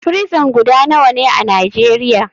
Frison guda nawane a nijeria?